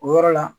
O yɔrɔ la